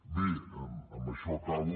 bé amb això acabo